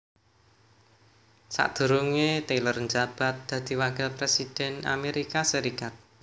Sakdurunge tyler njabat dadi Wakil Presiden Amerika Serikat